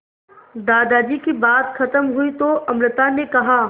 दादाजी की बात खत्म हुई तो अमृता ने कहा